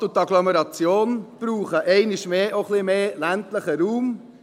Die Stadt und die Agglomeration brauchen einmal mehr auch ein wenig mehr ländlichen Raum.